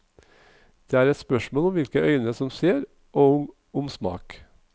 Det er et spørsmål om hvilke øyne som ser og om smak.